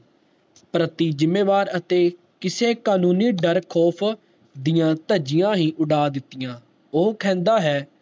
ਪ੍ਰਤੀ ਜਿੰਮੇਵਾਰ ਅਤੇ ਕਿਸੇ ਕਾਨੂੰਨੀ ਦਰ ਖੌਫ ਦੀਆਂ ਧਜੀਆਂ ਹੀ ਉਡਾ ਦਿਤੀਆਂ ਉਹ ਕਹਿੰਦਾ ਹੈ